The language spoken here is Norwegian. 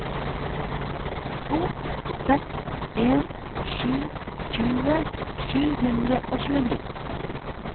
to seks en sju tjue sju hundre og tjueni